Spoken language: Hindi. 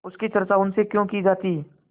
उसकी चर्चा उनसे क्यों की जाती